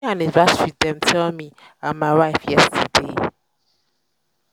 'happy anniversary' dem tell me and my wife yesterday.